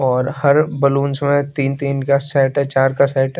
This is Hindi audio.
और हर बैलूंस में तीन तीन का सेट है चार का सेट है।